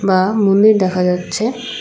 আ মন্দির দেখা যাচ্ছে।